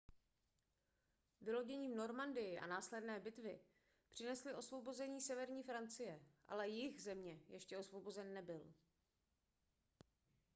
vylodění v normandii a následné bitvy přinesly osvobození severní francie ale jih země ještě osvobozen nebyl